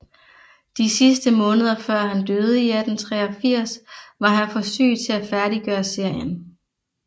De sidste måneder før han døde i 1883 var han for syg til at færdiggøre serien